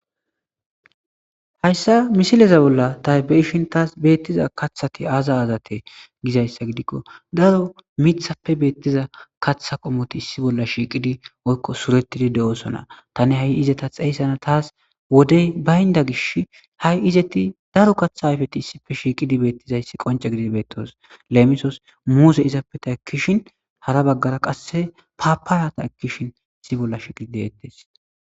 Hayssa misileza bolla taybeyishin taas beettiza kathati aaza azate gizayssa gidikko daro mithappe beettiza kaththa qomoti issi bolla shiiqidi oykko suretidi de7osona tani ha7i izeta xeyssana taas wodey baynda gish ha7i izeti daro katha ayfeti issipfe shiiqidi beettizayssi qonce gidi beettos lemisos muuse izappeta ekkishin hara baggara qasse paaparata ekkishin issi bolla shiqidi deettes